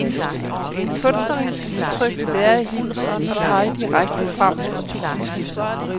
Det kunstneriske udtryk vil være i hendes ånd og pege direkte frem mod årtusindeskiftet.